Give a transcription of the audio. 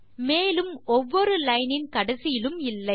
மேலும் ஒவ்வொரு லைன் இன் கடைசியிலும் இல்லை